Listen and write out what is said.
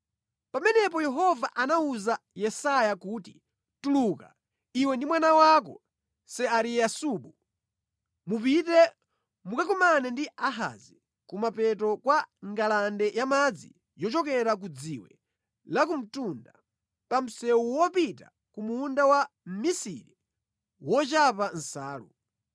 Pamenepo Yehova anawuza Yesaya kuti, “Tuluka, iwe ndi mwana wako Seariyasubu, mupite mukakumane ndi Ahazi kumapeto kwa ngalande yamadzi yochokera ku Dziwe Lakumtunda, pa msewu wopita ku Munda wa mmisiri wochapa nsalu.